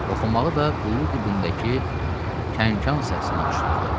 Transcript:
Oxumağı da quyu dibindəki kənkən səsinə oxşayırdı.